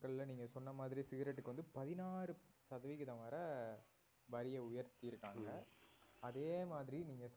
நீங்க சொன்ன மாதிரியே cigarette க்கு வந்து பதினாறு சதவீதம் வரை வரியை உயர்த்திருக்காங்க அதே மாதிரி நீங்க